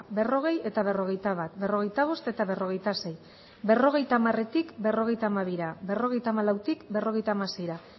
berrogei eta berrogeita bat berrogeita bost eta berrogeita sei berrogeita hamaretik berrogeita hamabira berrogeita hamalautik berrogeita hamaseira